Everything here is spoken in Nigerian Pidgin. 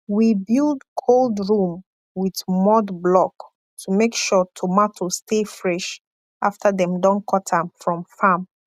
we build cold room with mud block to make sure tomato stay fresh after dem don cut am from farm